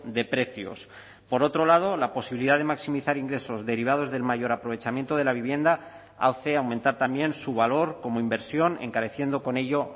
de precios por otro lado la posibilidad de maximizar ingresos derivados del mayor aprovechamiento de la vivienda hace aumentar también su valor como inversión encareciendo con ello